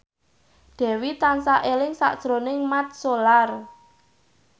Dewi tansah eling sakjroning Mat Solar